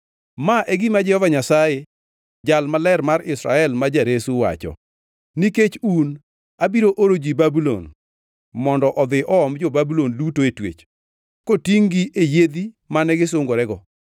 Ma e gima Jehova Nyasaye, Jal Maler mar Israel ma jaresu wacho: “Nikech un, abiro oro ji Babulon mondo odhi oom jo-Babulon duto e twech, kotingʼ-gi e yiedhi mane gisungorego.